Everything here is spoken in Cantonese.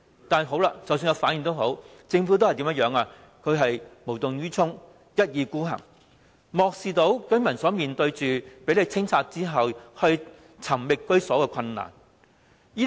但即使他們有反應，政府仍然無動於衷，一意孤行，漠視居民房屋被清拆後，再找居所的困難。